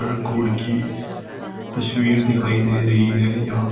God की तस्वीर दिखाई दे रही है यहाँ।